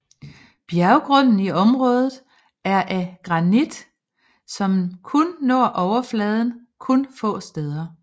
Bjergrunden i området er af granit som kun når overfladen kun få steder